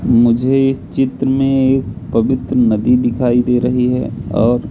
मुझे इस चित्र में एक पवित्र नदी दिखाई दे रही हैं और--